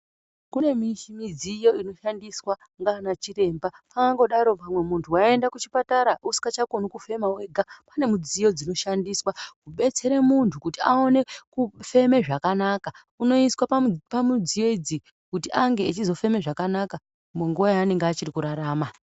Kune midziyo inoshandiswa ndiana chiremba angodaro pamwe muntu waende kuchipatara usichakoni kufema wega kune midziyo inoshandiswa kubetsere muntu kuti aone kufeme zvakanaka unosiswa pamudziyo idzi kuti ange achizofeme zvakanaka munguva yaanenge achiri kurarama.